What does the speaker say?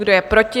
Kdo je proti?